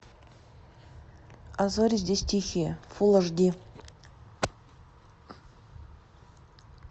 а зори здесь тихие фул аш ди